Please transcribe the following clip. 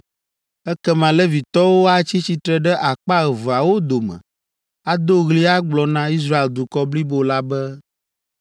Ekema Levitɔwo atsi tsitre ɖe akpa eveawo dome ado ɣli agblɔ na Israel dukɔ blibo la be,